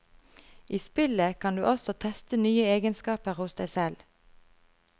I spillet kan du også teste nye egenskaper hos deg selv.